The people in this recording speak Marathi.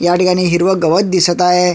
ह्या ठिकाणी हिरव गवत दिसत आहे.